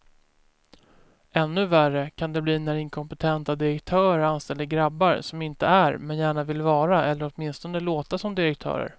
Ännu värre kan det bli när inkompetenta direktörer anställer grabbar som inte är, men gärna vill vara eller åtminstone låta som direktörer.